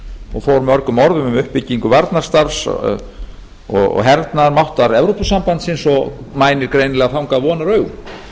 og fór mörgum orðum um uppbyggingu varnarstarfs og hernaðarmáttar evrópusambandsins og mænir greinilega þangað vonaraugum